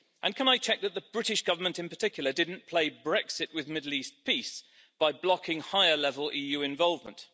Can I check that the British Government, in particular, did not play Brexit with Middle East peace by blocking higher level EU involvement?